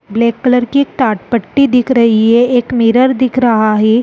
Black colour की एक टाट पट्टी दिख रही है एक मिरर दिख रहा है।